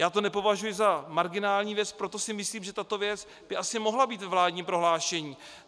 Já to nepovažuji za marginální věc, proto si myslím, že tato věc by asi mohla být ve vládním prohlášení.